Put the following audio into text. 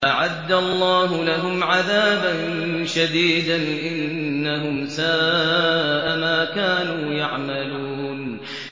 أَعَدَّ اللَّهُ لَهُمْ عَذَابًا شَدِيدًا ۖ إِنَّهُمْ سَاءَ مَا كَانُوا يَعْمَلُونَ